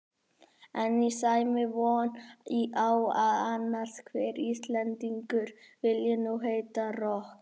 En á Sæmi von á að annar hver Íslendingur vilji nú heita rokk?